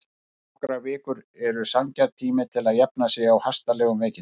Nokkrar vikur eru sanngjarn tími til að jafna sig á hastarlegum veikindum.